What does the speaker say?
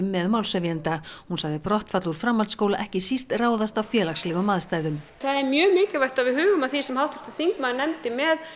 með málshefjanda hún sagði brottfall úr framhaldsskóla ekki síst ráðast af félagslegum aðstæðum það er mjög mikilvægt að við hugum að því sem háttvirtur þingmaður nefndi með